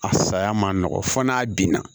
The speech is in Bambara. A saya man nɔgɔn fo n'a binna